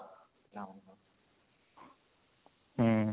ହୁଁ